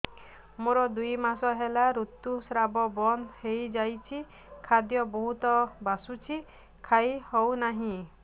ମୋର ଦୁଇ ମାସ ହେଲା ଋତୁ ସ୍ରାବ ବନ୍ଦ ହେଇଯାଇଛି ଖାଦ୍ୟ ବହୁତ ବାସୁଛି ଖାଇ ହଉ ନାହିଁ